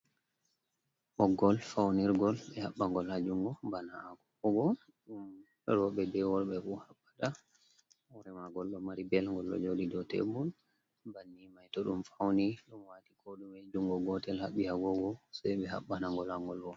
Ɓoggol faunirgol, ɓe haɓɓagol ha junngo, bana kobo. Rowɓe bee worɓe bu haɓɓa da hoore maagol ɗo mari bel ɗo jooɗi dow tebul. Banni mai to ɗum fauni ɗum wati koɗume junngo gotel haɓɓi agoogo se ɓe haɓɓana gol hangol bo.